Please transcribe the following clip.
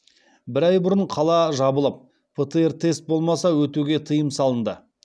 бір ай бұрын қала жабылып птр тест болмаса өтуге тыйым салынды